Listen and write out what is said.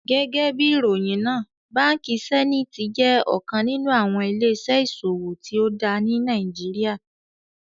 Gẹgẹbi iròyin náà, Bánkì Sẹ̀nítì jẹ́ ọkan nínu awọn ilẹ̀-iṣẹ̀ iṣòwò tío dá ní Nàìjíríà.